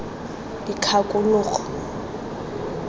dikgakologo